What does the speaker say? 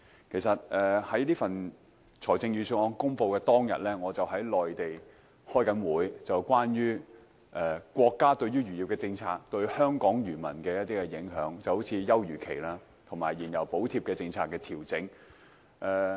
其實，在財政預算案公布當日，我正在內地開會，是關於國家漁業政策對香港漁民的影響，例如休漁期和燃油補貼政策的調整。